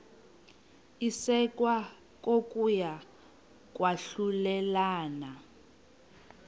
isekwa kokuya kwahlulelana